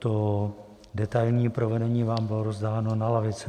To detailní provedení vám bylo rozdáno na lavice.